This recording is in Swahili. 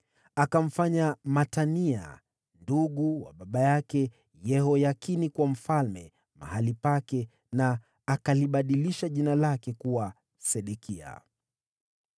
Akamfanya Matania, ndugu wa baba yake Yehoyakini, kuwa mfalme mahali pake, na akalibadilisha jina lake kuwa Sedekia.